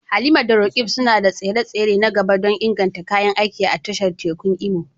Halima da Roqeeb suna da tsare-tsare na gaba don inganta kayan aiki a tashar tekun Imo.